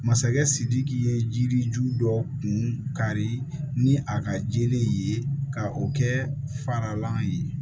Masakɛ sidiki ye jiriju dɔw kun kari ni a ka jeli ye ka o kɛ faralan ye